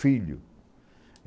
Filho.